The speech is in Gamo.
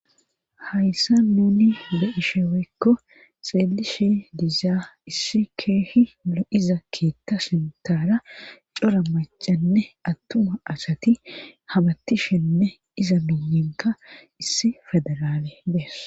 hayssa nuni lu7isheweekko xeelishi diizaa issi keehi le7iza keetta sintaara cora macanne attuma asati habattishenne iza miyinka issi fedaraale bees